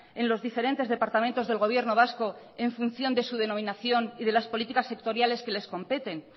en los diferentes departamentos del gobierno vasco en función de su denominación y de las políticas sectoriales que les competen